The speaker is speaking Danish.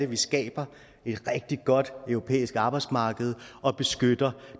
vi skaber et rigtig godt europæisk arbejdsmarked og beskytter